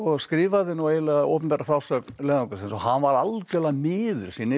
skrifaði nú eiginlega opinbera frásögn leiðangursins og hann var algjörlega miður sín yfir